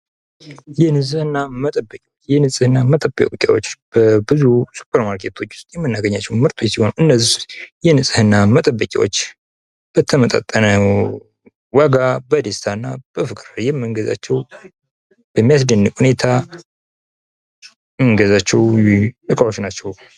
የንጽህና መጠበቂያ፡- የንጽህና መጠበቂያዎች በብዙ ሱፐር ማርኬቶች ውስጥ የምናገኛቸው ሲሆን ፤ እነዚህ የንጽህና መጠበቂያዎች በተመጣጠነ ዋጋ በፍቅር የምንገዛቸው እና በሚያስደንቅ ሁኔታ የምንገዛቸው እቃዎች ናቸው።